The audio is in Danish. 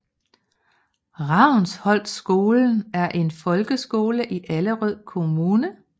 Ravnsholtskolen er en folkeskole i Allerød Kommune